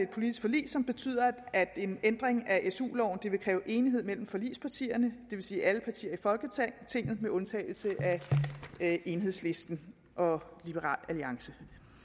politisk forlig som betyder at en ændring af su loven vil kræve enighed mellem forligspartierne det vil sige alle partier i folketinget med undtagelse af enhedslisten og liberal alliance